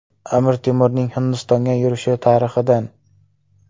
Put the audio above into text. Amir Temurning Hindistonga yurishi tarixidan.